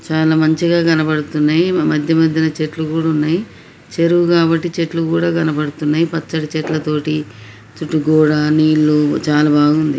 చాలా మంచిగా కనబడుతున్నాయి మధ్య మధ్యలో చెట్టు కూడా ఉన్నాయి చెరువు కాబట్టి చెట్లు కూడా కనబడుతున్నాయి పచ్చటి చెట్ల తోటి చుట్టు గోడ నీళ్లు చాలా బాగుంది.